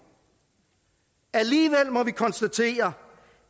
alligevel må vi konstatere